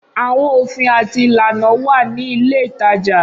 Awọn ofin ati ilana wa ni ile itaja.